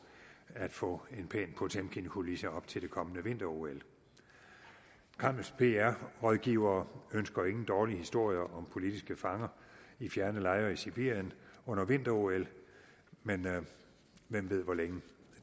at få en pæn potemkinkulisse op til det kommende vinter ol kremls pr rådgivere ønsker ingen dårlige historier om politiske fanger i fjerne lejre i sibirien under vinter ol men hvem ved hvor længe